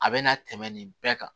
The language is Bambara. A bɛ na tɛmɛ nin bɛɛ kan